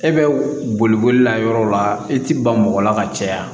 E bɛ boli boli la yɔrɔ la e ti ban mɔgɔ la ka caya